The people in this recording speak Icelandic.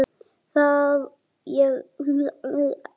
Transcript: Ég varð óvirkur pabbi.